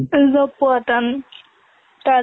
job পোৱা টান